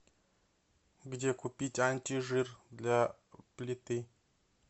где купить антижир для плиты